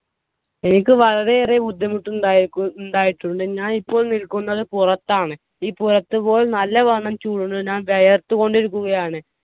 എനിക്ക് വളരെയേറെ ബുദ്ധിമുട്ട് ഉണ്ടായിരിക്കു ഉണ്ടായിട്ടുണ്ട്. ഞാൻ ഇപ്പോൾ നിൽക്കുന്നത് പുറത്താണ്. ഈ പുറത്തിപ്പോൾ നല്ലവണ്ണം ചൂടുണ്ട്‌ ഞാൻ വിയർത്തുകൊണ്ട് ഇരിക്കുകയാണ്.